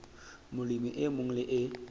molemi e mong le e